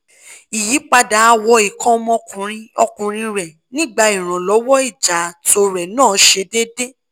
iyipada àwọ̀ nnkan ọmọ ọkùnrin ọkùnrin rẹ nigba Ìrànlọ́wọ́ ija ato re na se deede